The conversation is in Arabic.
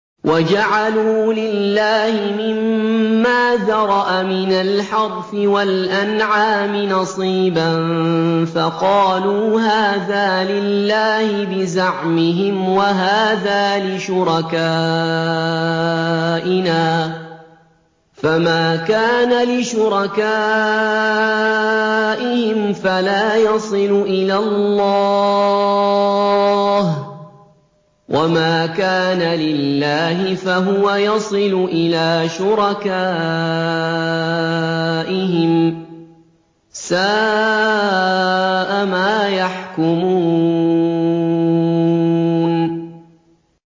وَجَعَلُوا لِلَّهِ مِمَّا ذَرَأَ مِنَ الْحَرْثِ وَالْأَنْعَامِ نَصِيبًا فَقَالُوا هَٰذَا لِلَّهِ بِزَعْمِهِمْ وَهَٰذَا لِشُرَكَائِنَا ۖ فَمَا كَانَ لِشُرَكَائِهِمْ فَلَا يَصِلُ إِلَى اللَّهِ ۖ وَمَا كَانَ لِلَّهِ فَهُوَ يَصِلُ إِلَىٰ شُرَكَائِهِمْ ۗ سَاءَ مَا يَحْكُمُونَ